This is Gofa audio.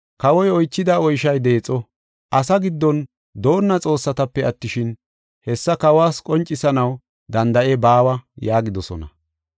Kawoy oychida oyshoy deexo; asa giddon doonna xoossatape attishin, hessa kawas qoncisanaw danda7ey baawa” yaagidosona.